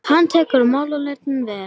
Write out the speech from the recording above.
Hann tekur málaleitaninni vel.